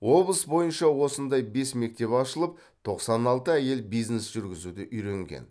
облыс бойынша осындай бес мектеп ашылып тоқсан алты әйел бизнес жүргізуді үйренген